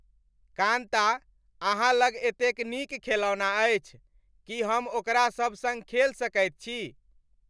कान्ता, अहाँ लग एतेक नीक खेलौना अछि। की हम ओकरा सभ सङ्ग खेल सकैत छी?